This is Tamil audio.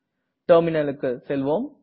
டெர்மினல் க்கு செல்வோம்